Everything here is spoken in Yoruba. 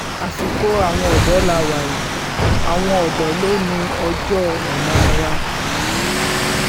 àsìkò àwọn ọ̀dọ́ la wà yìí àwọn odò lò ní ọjọ́-ọ̀la wa